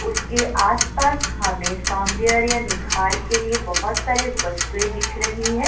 उसके आस-पास हमें सौंदर्य निखार के लिए बहुत सारे वस्तुएं दिख रही है।